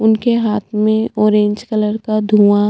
उनके हाथ में ऑरेंज कलर का धुँआ--